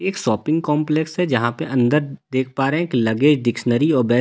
एक shopping complex है जहां पे अंदर देख पा रहे हैं की लगेज डिक्शनरी और बेस्ट सेलर का।